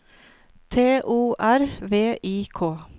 T O R V I K